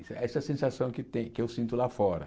Essa essa é a sensação que tem que eu sinto lá fora.